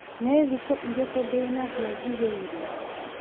nĩ thikũ irĩkũ ndĩnacio njigĩirwo